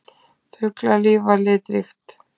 Fuglalíf var litríkt.